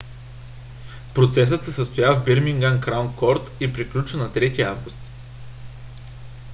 процесът се състоя в бирмингам краун корт и приключи на 3 август